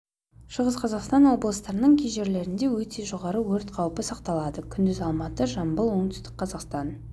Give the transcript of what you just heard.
астанада көшпелі бұлтты жауын-шашынсыз батыстан оңтүстік-батысан жел соғады күші секундына метр болады ауаның температурасы түнде градус күндіз градус ыстық болады